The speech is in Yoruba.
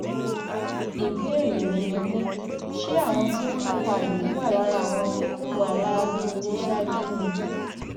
ìbéèrè mi ni pé ṣé àwọn tí wọn pa yìí wà lára àwọn tó hùwà láabi tíṣáájú ni